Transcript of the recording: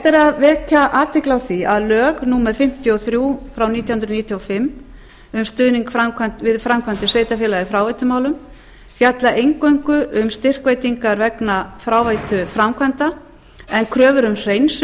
er að vekja athygli á því að lög númer fimmtíu og þrjú nítján hundruð níutíu og fimm um stuðning við framkvæmdir sveitarfélaga í fráveitumálum fjalla eingöngu um styrkveitingar vegna fráveituframkvæmda en kröfur um hreinsun